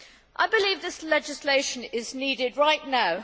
I believe this legislation is needed right now.